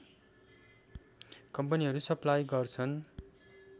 कम्पनीहरू सप्लाई गर्छन्